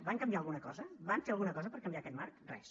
van canviar alguna cosa van fer alguna cosa per canviar aquest marc res